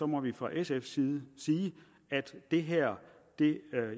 må vi fra sfs side sige at det her ikke